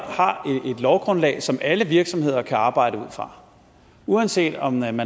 har et lovgrundlag som alle virksomheder kan arbejde ud fra uanset om man